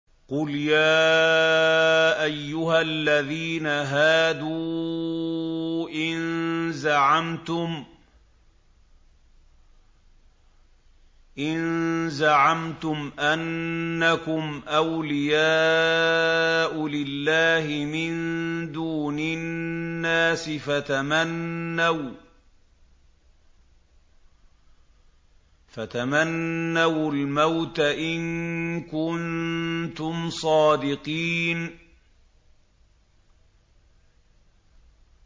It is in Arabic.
قُلْ يَا أَيُّهَا الَّذِينَ هَادُوا إِن زَعَمْتُمْ أَنَّكُمْ أَوْلِيَاءُ لِلَّهِ مِن دُونِ النَّاسِ فَتَمَنَّوُا الْمَوْتَ إِن كُنتُمْ صَادِقِينَ